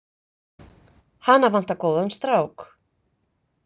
Hana vantar góðan strák.